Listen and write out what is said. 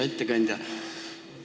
Hea ettekandja!